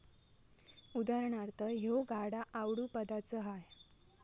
उदा.ह्यो गाडा आवडूं पदाच हाय.